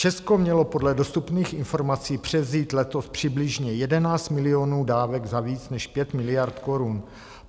Česko mělo podle dostupných informací převzít letos přibližně 11 milionů dávek za více než 5 miliard korun.